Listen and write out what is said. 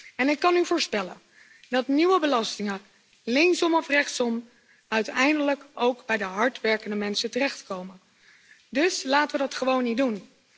En ik kan u voorspellen dat nieuwe belastingen linksom of rechtsom uiteindelijk ook bij de hard werkende mensen terechtkomen, dus laten we dat gewoon niet doen.